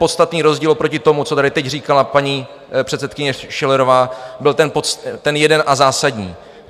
Podstatný rozdíl oproti tomu, co tady teď říkala paní předsedkyně Schillerová, byl ten jeden a zásadní.